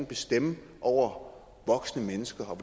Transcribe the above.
bestemme over voksne mennesker og